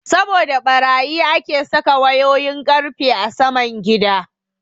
Saboda ɓarayi ake saka wayoyin ƙarfe a saman gida.